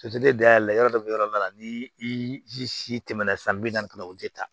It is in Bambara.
dayɛlɛ yɔrɔ dɔ bɛ yɔrɔ dɔ la ni i si tɛmɛna san bi naani o tɛ taa